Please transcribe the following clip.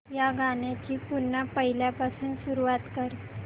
या गाण्या ची पुन्हा पहिल्यापासून सुरुवात कर